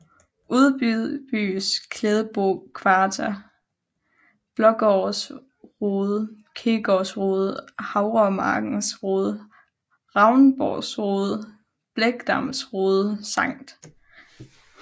Udenbys Klædebo Kvarter Blaagaards Rode Kirkegaards Rode Havremarkens Rode Ravnsborg Rode Blegdams Rode Skt